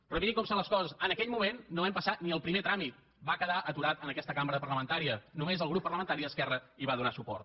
però mirin com són les coses en aquell moment no vam passar ni el primer tràmit va quedar aturada en aquesta cambra parlamentària només el grup parlamentari d’esquerra hi va donar suport